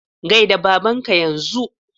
Gaida babanka yanzu!